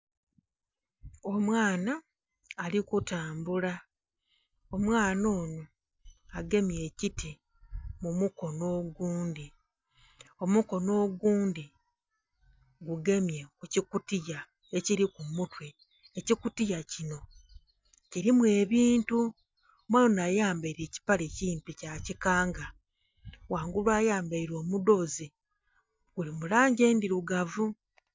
Omwaana ali ku tambula, omwaana onho agemye ekiti mumukono ogundhi omukonho ogundhi gu gemye ekikutiya ekili kumutwe, ekikutiya kinho kilimu ebintu. Omwaana ayambaire ekipale kimpi kya kikanga ghangulu ayambaire omudhozi guli mu langi endhirugavu.